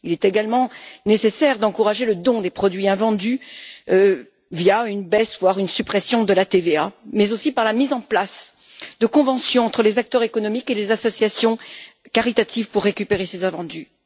Il est également nécessaire d'encourager le don des produits invendus via une baisse, voire une suppression, de la TVA, et par la mise en place de conventions entre les acteurs économiques et les associations caritatives pour récupérer ces invendus.